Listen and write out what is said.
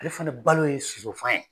Ale fana balo ye sosofan ye!